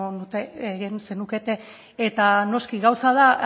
zenukete eta noski gauza da